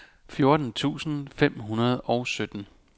fjorten tusind fem hundrede og sytten